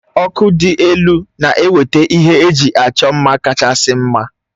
Ọkụ dị elu na-eweta ihe eji achọ mma kachasị mma